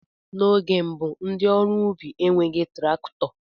N'oge mbụ ndị ọrụ ubi enweghị traktọ